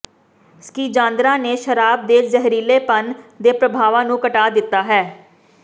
schisandra ਨੇ ਸ਼ਰਾਬ ਦੇ ਜ਼ਹਿਰੀਲੇਪਨ ਦੇ ਪ੍ਰਭਾਵਾਂ ਨੂੰ ਘਟਾ ਦਿੱਤਾ ਹੈ